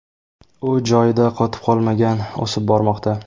U joyida qotib qolmagan, o‘sib bormoqda.